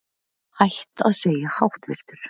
Hætt að segja háttvirtur